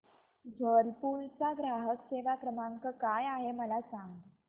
Whirlpool चा ग्राहक सेवा क्रमांक काय आहे मला सांग